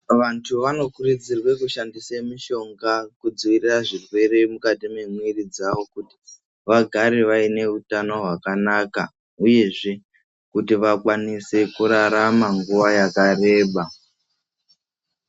Vantu vanokurudzirwe kushandise mishonga kudzivirira zvirwere mukati mwemwiri dzavo. Kuti vagare vaine hutano hwakanaka, uyezve kuti vakwanise kurarama nguwa yakareba.